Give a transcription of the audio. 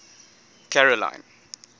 caroline